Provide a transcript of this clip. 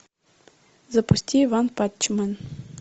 запусти ванпанчмен